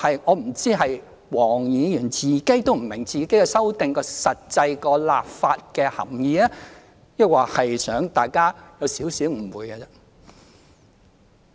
我不知道黃議員本人是否也不明白她修正案的實際立法含意，抑或是想大家有少許誤會。